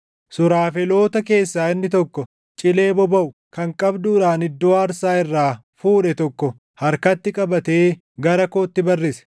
Suraafeloota keessaa inni tokko cilee bobaʼu kan qabduudhaan iddoo aarsaa irraa fuudhe tokko harkatti qabatee gara kootti barrise.